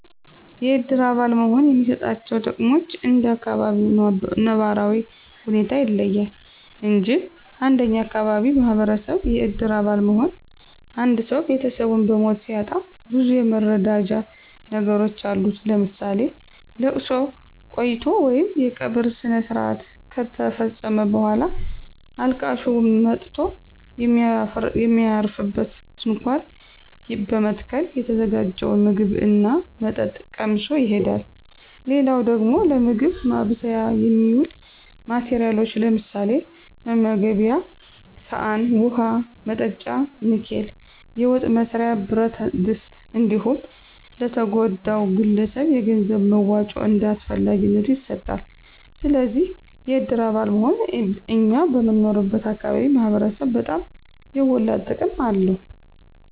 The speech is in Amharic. የእድር አባል መሆን የሚሰጣቸው ጥቅሞች እንደ አካባቢው ነባራዊ ሁኔታ ይለያል እንጅ እንደኛ አካባቢ ማህበረሰብ የእድር አባል መሆን አንድሰው ቤተሰቡን በሞት ሲያጣ ብዙ የመረዳጃ ነገሮች አሉት ለምሳሌ፦ ለቅሶ ቆይቶ ወይም የቀብር ስነስረአት ከተፈፀመ በኋላ አልቃሹ መጥቶ የሚያርፍበት ድንኳን በመትከል የተዘጋጀውን ምግብ ና መጠጥ ቀምሶ ይሄዳል። ሌላው ደግሞ ለምግብ ማብሰያ የሚውሉ ማቴረያሎች ለምሳሌ፦ መመገቤያ ሰአን፣ ውሀ መጠጫ ንኬል፣ የወጥ መስሪያ ብረትድስት እንዲሁም ለተጎዳው ግለሰብ የገንዘብ መዋጮ እንደ አስፈላጊነቱ ይሰጣል። ስለዚ የድር አባል መሆን እኛ በምንኖርበት አካባቢ ማህበረሰብ በጣም የጎላ ጥቅም አለው።